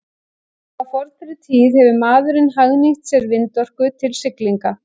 Frá fornri tíð hefur maðurinn hagnýtt sér vindorku til siglinga.